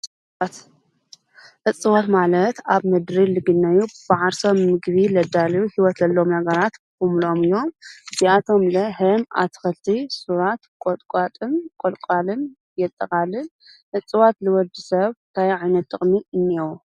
እጽዋት ማለት ኣብ ምድሪ ልግነዩ ብዓርሰም ምግቢ ለዳልዩ ሕይወትሎም ነገራት ምሎኦም እዮም እዚኣቶም ለ ሕም ኣትኽልቲ ሡራት ቈጥቋጥም ቈልቋልን የጠቓልን እጽዋት ልወዲ ሰብ ታይዒነት ጥቕሚ እኔህዎ?